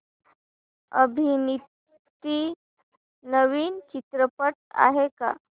अभिनीत नवीन चित्रपट आहे का